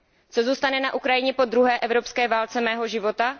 Co zůstane na Ukrajině po druhé evropské válce mého života?